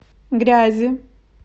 грязи